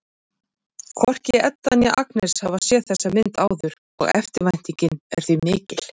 Hvorki Edda né Agnes hafa séð þessa mynd áður og eftirvæntingin er því mikill.